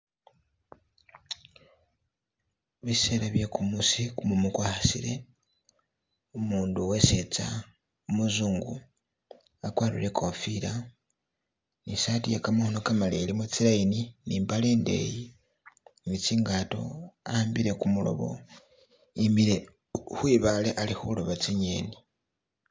Bisela bye kumusi kumumu kwa khasile umundu we setsa umuzungu akwarire ikofila ne saati ye kamakhono kamaleyi ilimo tsi line ne imbale indeyi ne tsingato a'ambile kumulobo yimile khwi bale ali khuloba tsi'ngeni.